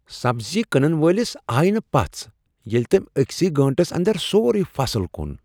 سبزی کٕنن وٲلس آیہ نہٕ پژھ ییٚلہ تٔمۍ أکۍسٕے گانٹس اندر سورُے فصل کُن۔